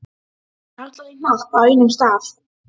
Karlar í hnapp á einum stað.